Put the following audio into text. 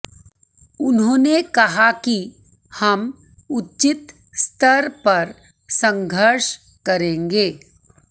उन्होंने कहा कि हम उचित स्तर पर संघर्ष करेंगे